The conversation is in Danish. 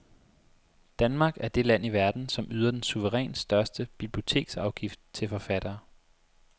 Danmark er det land i verden, som yder den suverænt største biblioteksafgift til forfattere.